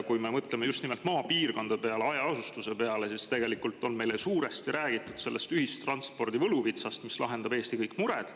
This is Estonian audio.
Kui me mõtleme just nimelt maapiirkondade peale, hajaasustuse peale, siis on meile suuresti räägitud ühistranspordi võluvitsast, mis lahendab kõik Eesti mured.